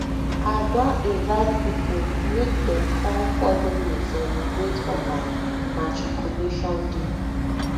i don invite pipo make dem come folo me celebrate for my matriculation day